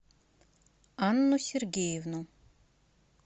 анну сергеевну